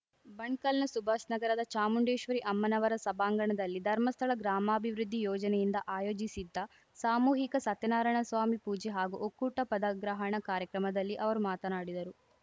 ಬಣ್ಕಲ್‌ನ ಸುಭಾಷ್‌ನಗರದ ಚಾಮುಂಡೇಶ್ವರಿ ಅಮ್ಮನವರ ಸಭಾಂಗಣದಲ್ಲಿ ಧರ್ಮಸ್ಥಳ ಗ್ರಾಮಾಭಿವೃದ್ಧಿ ಯೋಜನೆಯಿಂದ ಆಯೋಜಿಸಿದ್ದ ಸಾಮೂಹಿಕ ಸತ್ಯನಾರಾಯಣ ಸ್ವಾಮಿ ಪೂಜೆ ಹಾಗೂ ಒಕ್ಕೂಟ ಪದಗ್ರಹಣ ಕಾರ್ಯಕ್ರಮದಲ್ಲಿ ಅವರು ಮಾತನಾಡಿದರು